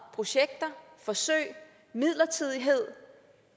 projekter forsøg midlertidighed